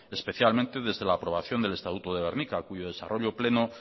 especialmente desde la aprobación del estatuto de gernika cuyo desarrollo pleno